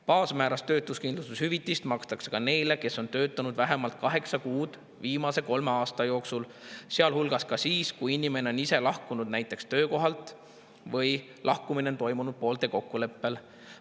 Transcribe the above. Baasmääras töötuskindlustushüvitist makstakse ka neile, kes on töötanud vähemalt kaheksa kuud viimase kolme aasta jooksul, sealhulgas ka siis, kui inimene on ise lahkunud töökohalt või lahkumine on toimunud poolte kokkuleppel.